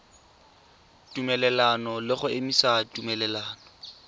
tumelelano le go emisa tumelelano